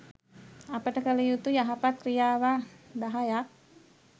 අපට කළ යුතු යහපත් ක්‍රියාවන් දහයක්